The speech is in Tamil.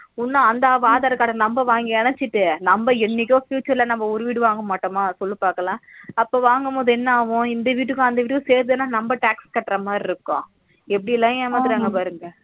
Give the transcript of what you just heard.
இன்னும் அந்த aadhar card number வாங்கி இனட்சிட்டு நம்ம என்னைக்கோ future ல நம்ம ஒரு வீடு வாங்க மாட்டோமா சொல்லு பாக்கலாம் அப்போ வாங்கும்போது என்னாகும்இந்த வீட்டுக்கும் அந்த வீட்டுக்கும் சேர்த்துதானா நம்ம tax கட்டுற மாதிரி இருக்கும் எப்பிடி எல்லா ஏமாத்துறாங்க பாரு